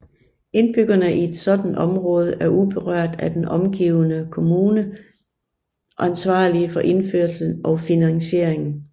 Indbyggerne i et sådant område var uberørt af den omgivende kommune ansvarlige for indførelsen og finansieringen